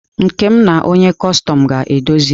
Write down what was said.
Nkem na onye kọstọm ga-edozi.